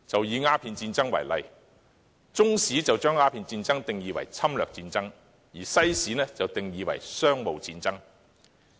以鴉片戰爭為例，中史把鴉片戰爭定義為侵略戰爭，而西史則將之定義為商務戰爭。